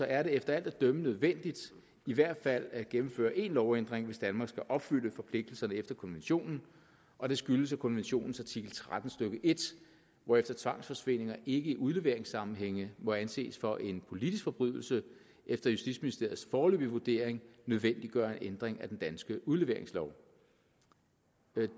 er det efter alt at dømme nødvendigt i hvert fald at gennemføre en lovændring hvis danmark skal opfylde forpligtelserne efter konventionen og det skyldes at konventionens artikel tretten stykke en hvorefter tvangsforsvindinger i udleveringssammenhæng må anses for en politisk forbrydelse efter justitsministeriets foreløbige vurdering nødvendiggør en ændring af den danske udleveringslov